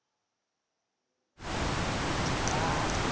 jobhaha